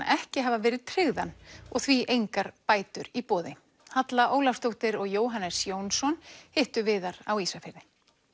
ekki hafa verið tryggðan og því engar bætur í boði Halla Ólafsdóttir og Jóhannes Jónsson hittu Viðar á Ísafirði